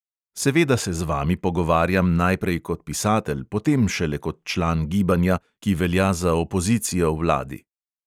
Seveda se z vami pogovarjam najprej kot pisatelj, potem šele kot član gibanja, ki velja za opozicijo vladi.